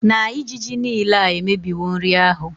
na ijiji nile a emebiwo nri ahụ